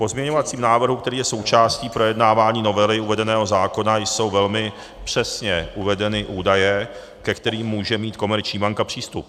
V pozměňovacím návrhu, který je součástí projednávání novely uvedeného zákona, jsou velmi přesně uvedeny údaje, ke kterým může mít komerční banka přístup.